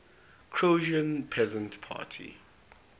croatian peasant party